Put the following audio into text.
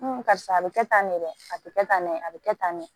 N go karisa a be kɛ tan ne dɛ a te kɛ tan ne a be kɛ tan ne